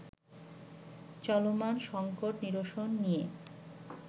চলমান সঙ্কট নিরসন নিয়ে